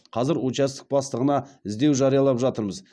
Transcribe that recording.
қазір участок бастығына іздеу жариялап жатырмыз